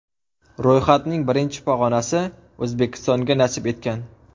Ro‘yxatning birinchi pog‘onasi O‘zbekistonga nasib etgan.